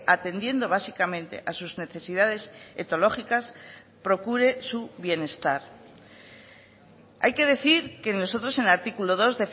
atendiendo básicamente a sus necesidades etológicas procure su bienestar hay que decir que nosotros en el artículo dos